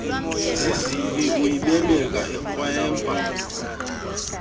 zizibi uyibeleka ikrwempa